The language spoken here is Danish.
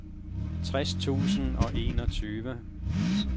tres tusind og enogtyve